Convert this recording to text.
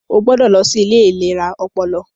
O gbọdọ lọ sí ilé ìlera ọpọlọ!